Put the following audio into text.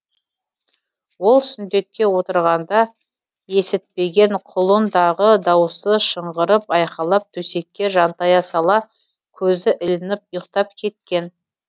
ол сүндетке отырғанда естітпеген құлындағы дауысы шыңғырып айқайлап төсекке жантая сала көзі ілініп ұйықтап кеткен